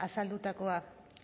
azaldutakoa